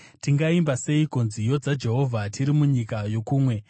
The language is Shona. Tingaimba seiko nziyo dzaJehovha tiri munyika yokumwe?